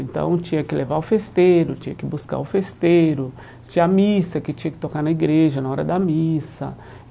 Então tinha que levar o festeiro, tinha que buscar o festeiro, tinha a missa que tinha que tocar na igreja, na hora da missa.